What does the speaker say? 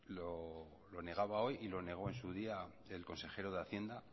lo negaba hoy y lo negó en su día del consejero de hacienda